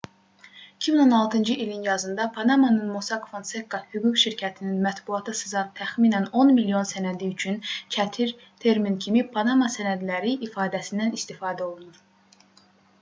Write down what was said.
2016-cı ilin yazında panamanın mossack fonseca hüquq şirkətinin mətbuata sızan təxminən 10 milyon sənədi üçün çətir termin kimi panama sənədləri ifadəsindən istifadə olunur